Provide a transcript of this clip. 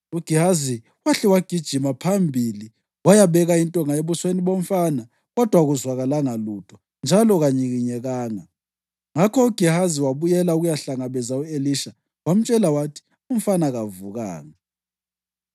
UGehazi wahle wagijima phambili wayabeka intonga ebusweni bomfana, kodwa akuzwakalanga lutho njalo kanyikinyekanga. Ngakho uGehazi wabuyela ukuyahlangabeza u-Elisha wamtshela wathi, “Umfana kavukanga.”